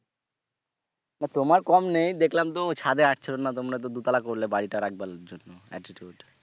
না তোমার কম নেই দেখলাম তো ছাদে আসছিল না তোমরা তো দুতলা করলে বাড়িটা রাখবার জন্য attitude,